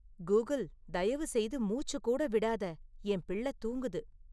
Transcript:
Google தயவுசெய்து மூச்சு கூட விடாதே, என் பிள்ளை தூங்குது